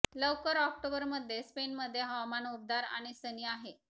लवकर ऑक्टोबर मध्ये स्पेन मध्ये हवामान उबदार आणि सनी आहे